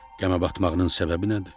Qəmə batmağının səbəbi nədir?